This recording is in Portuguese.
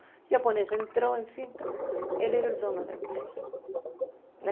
O japonês entrou, enfim, ele era o dono da empresa, né?